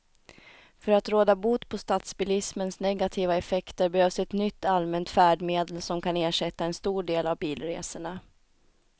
För att råda bot på stadsbilismens negativa effekter behövs ett nytt allmänt färdmedel som kan ersätta en stor del av bilresorna.